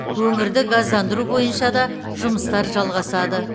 өңірді газдандыру бойынша да жұмыстар жалғасады